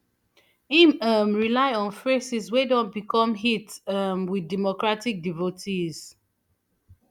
im um rely on phrases wey don become hits um wit democratic devotees